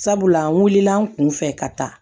Sabula n wulila an kun fɛ ka taa